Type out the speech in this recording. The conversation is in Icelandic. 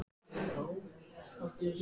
En kom ekki til greina að fara í Víking?